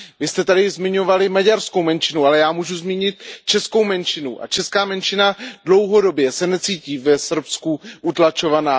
Vy jste tu již zmiňovali maďarskou menšinu, ale já můžu zmínit českou menšinu a česká menšina dlouhodobě se necítí v Srbsku utlačována.